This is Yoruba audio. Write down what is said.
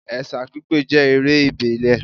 Ẹ̀sà pípé jẹ́ eré ìbílẹ̀